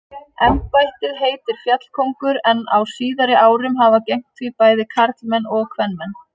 Embættið heitir fjallkóngur en á síðari árum hafa gegnt því bæði karlmenn og kvenmenn.